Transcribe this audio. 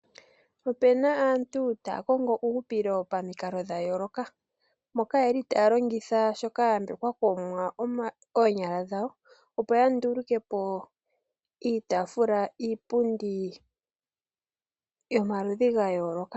Ope na aantu taya kongo uuhupilo pamikalo dha yooloka moka ye li taya longitha shoka ya yambekwa kOmuwa, oonyala dhawo opo ya nduluke po iitafula, iipundi yomaludhi ga yooloka.